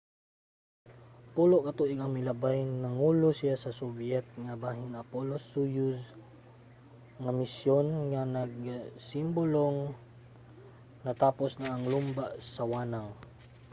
pulo ka tuig ang milabay nangulo siya sa soviet nga bahin sa apollo–soyuz nga misyon nga nagsimbolong natapos na ang lumba sa wanang